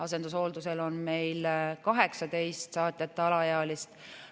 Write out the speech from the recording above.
Asendushooldusel on meil 18 saatjata alaealist.